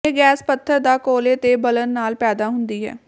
ਇਹ ਗੈਸ ਪੱਥਰ ਦਾ ਕੋਲੇ ਦੇ ਬਲਣ ਨਾਲ ਪੈਦਾ ਹੁੰਦੀ ਹੈ